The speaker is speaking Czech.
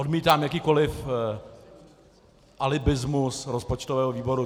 Odmítám jakýkoliv alibismus rozpočtového výboru.